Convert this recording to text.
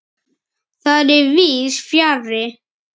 Það er víðs fjarri.